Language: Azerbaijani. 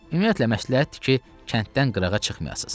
Ümumiyyətlə məsləhətdir ki, kənddən qırağa çıxmayasız.